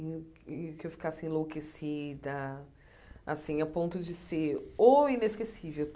E e que eu ficasse enlouquecida, assim, a ponto de ser o inesquecível.